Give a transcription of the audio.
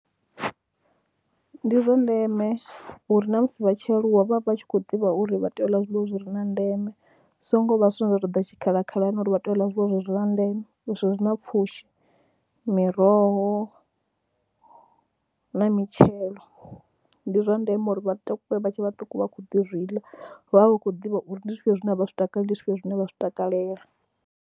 Ndi zwa ndeme uri na musi vha tshi aluwa vha vha tshi khou ḓivha uri vha tea u ḽa zwiḽiwa zwi re na ndeme, hu songo vha zwine zwa ḓo ḓa tshikhala khalani uri vha tea u ḽa zwiḽiwa zwi re na ndeme zwi re na pfhushi. Miroho na mitshelo ndi zwa ndeme uri vhaṱuku vha tshe vhaṱuku vha gude u zwi ḽa, vha vha vha khou ḓivha uri ndi zwifhio zwine a vha zwi takaleli, ndi zwifhio zwine vha zwi takalela.